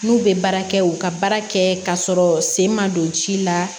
N'u bɛ baara kɛ u ka baara kɛ k'a sɔrɔ sen ma don ji la